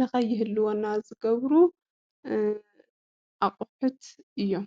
ንኸይህልወና ዝገብሩ ኣቑሑት እዮም።